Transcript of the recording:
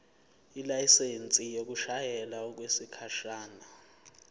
ilayisensi yokushayela okwesikhashana